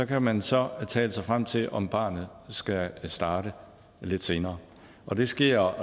kan man så tale sig frem til om barnet skal starte lidt senere og det sker